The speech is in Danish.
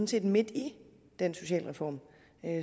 set midt i den socialreform